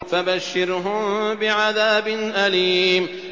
فَبَشِّرْهُم بِعَذَابٍ أَلِيمٍ